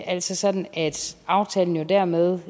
altså sådan at aftalen jo dermed